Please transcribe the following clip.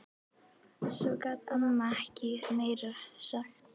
Svo gat amma ekkert meira sagt.